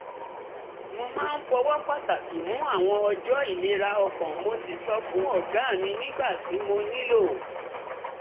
mo máa ń fọwọ́ pàtàkì mú àwọn ọjọ́ ìlera ọkàn mo sì sọ fún ọ̀gá mi nígbà tí mo nílò